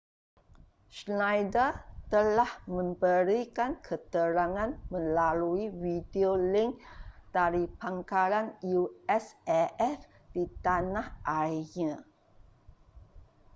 schneider telah memberikan keterangan melalui videolink dari pangkalan usaf di tanah airnya